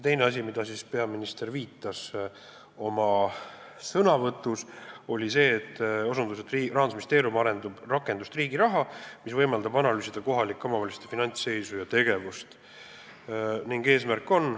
Teine asi, millele peaminister oma sõnavõtus viitas, oli see, et Rahandusministeerium arendab rakendust Riigiraha, mis võimaldab analüüsida kohalike omavalitsuste finantsseisu ja tegevust.